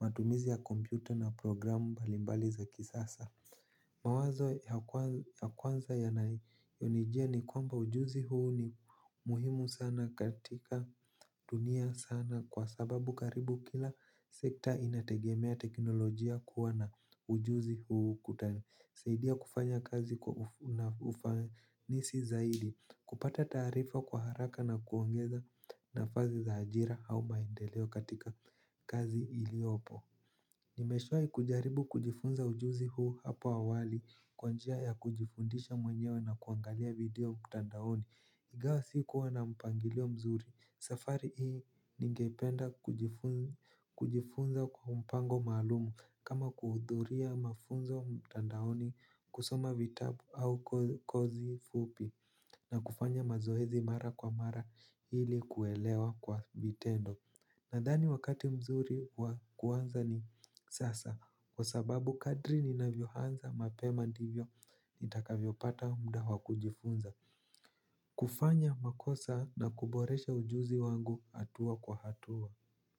matumizi ya kompyuta na programu balimbali za kisasa. Mawazo ya kwanza yanaoinijia ni kwamba ujuzi huu ni muhimu sana katika dunia sana kwa sababu karibu kila sekta inategemea teknolojia kuwa na ujuzi huu ukutani. Saidia kufanya kazi na ufanisi zaidi kupata tarifa kwa haraka na kuongeza nafazi za hajira au maendeleo katika kazi iliopo. Nimeshai kujaribu kujifunza ujuzi huu hapo awali kwa njia ya kujifundisha mwenyewe na kuangalia video mtandaoni. Igawa sikuwa na mpangilio mzuri, safari hii ningependa kujifunza kwa mpango malumu. Kama kuhuduria mafunzo mtandaoni kusoma vitabu au kozi fupi na kufanya mazohezi mara kwa mara hili kuelewa kwa vitendo. Nadhani wakati mzuri wakuanza ni sasa kwa sababu kadri ninavyohanza mapema ndivyo nitaka vyopata mda wakujifunza. Kufanya makosa na kuboresha ujuzi wangu atua kwa hatua.